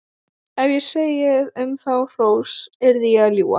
Ef ég segði um þá hrós yrði ég að ljúga.